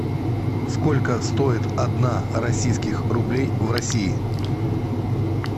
сколько стоит одна российских рублей в россии